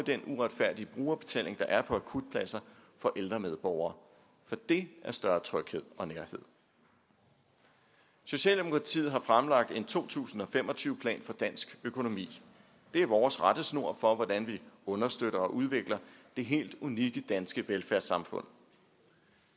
den uretfærdige brugerbetaling der er på akutpladser for ældre medborgere og det er større tryghed og nærhed socialdemokratiet har fremlagt en to tusind og fem og tyve plan for dansk økonomi det er vores rettesnor for hvordan vi understøtter og udvikler det helt unikke danske velfærdssamfund